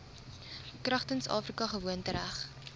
kragtens afrika gewoontereg